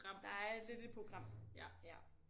Der er lidt et program ja